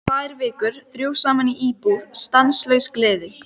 Tvær vikur, þrjú saman í íbúð, stanslaus gleði.